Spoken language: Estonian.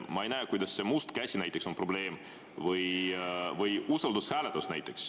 Ma ei näe, kuidas näiteks see must käsi on probleem, või usaldushääletus.